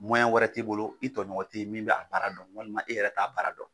wɛrɛ t'i bolo, i tɔɲɔgɔn tɛ yen min b'a baara dɔn walima e yɛrɛ t'a baara dɔn.